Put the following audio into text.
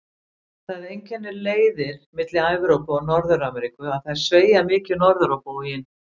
Það einkennir leiðir milli Evrópu og Norður-Ameríku að þær sveigja mikið norður á bóginn.